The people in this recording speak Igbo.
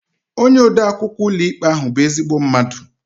Onye ode akwụkwọ ụlọikpe ahụ bụ ezigbo mmadụ